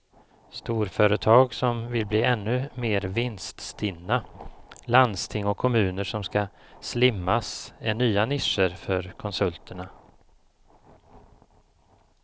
Storföretag som vill bli ännu mer vinststinna, landsting och kommuner som ska slimmas är nya nischer för konsulterna.